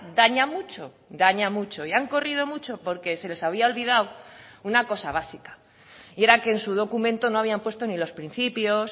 daña mucho daña mucho y han corrido mucho porque se les había olvidado una cosa básica y era que en su documento no habían puesto ni los principios